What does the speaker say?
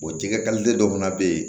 jɛgɛ dɔ fana bɛ yen